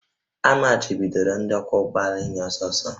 A machibidoro ndị ọkwọ ụgbọ ala ịnya ọsọ ọsọ